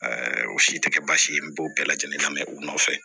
o si tɛ kɛ baasi ye n b'o bɛɛ lajɛlen lamɛ u nɔfɛ